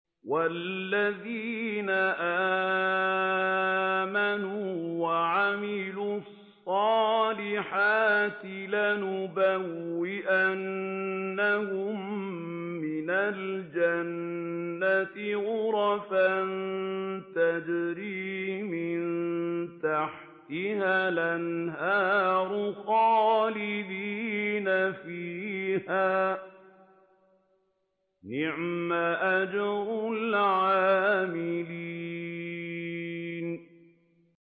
وَالَّذِينَ آمَنُوا وَعَمِلُوا الصَّالِحَاتِ لَنُبَوِّئَنَّهُم مِّنَ الْجَنَّةِ غُرَفًا تَجْرِي مِن تَحْتِهَا الْأَنْهَارُ خَالِدِينَ فِيهَا ۚ نِعْمَ أَجْرُ الْعَامِلِينَ